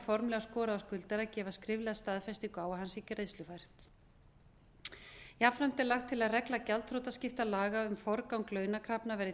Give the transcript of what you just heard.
formlega skorað á skuldara að gefa skriflega staðfestingu á að hann sé greiðslufær jafnframt er lagt til að regla gjaldþrotaskiptalaga um forgang launakrafna verði